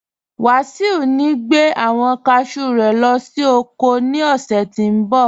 Wasiu ní gbẹ̀ awọn káshú rẹ̀ lọ sí oko ní ọṣẹ̀ tí ń bọ̀.